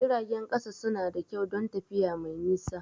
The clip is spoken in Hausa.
Jiragen ƙasa suna da kyau don tafiya mai nisa.